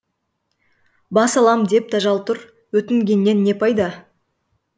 бас алам деп тажал тұр өтінгеннен не пайда